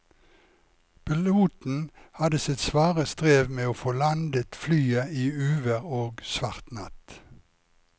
Piloten hadde sitt svare strev med å få landet flyet i uvær og svart natt.